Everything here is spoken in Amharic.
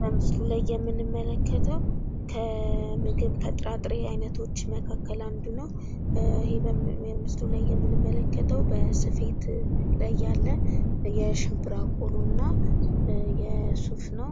በምስሉ ላይ የምንመለከተው ከምግብ ከጥራጥሬ አይነቶች መካከል አንዱ ነው ።ይሄ በምስሉ ላይ የምንመለከተው በስፌት ላይ ያለ የ ሸምብራ ቆሎ እና የሱፍ ነው።